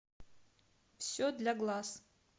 все для глаз